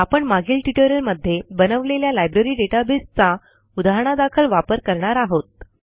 आपण मागील ट्युटोरियलमध्ये बनवलेल्या लायब्ररी databaseचा उदाहणादाखल वापर करणार आहोत